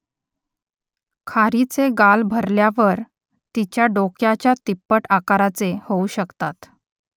खारीचे गाल भरल्यावर तिच्या डोक्याच्या तिप्पट आकाराचे होऊ शकतात